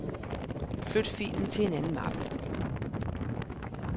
Flyt filen til en anden mappe.